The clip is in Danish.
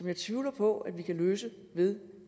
jeg tvivler på at vi kan løse det ved